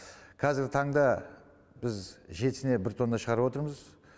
қазіргі таңда біз жетісіне бір тонна шығарып отырмыз